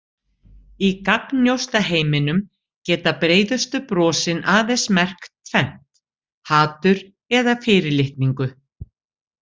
Í gagnnjósnaheiminum geta breiðustu brosin aðeins merkt tvennt: hatur eða fyrirlitningu.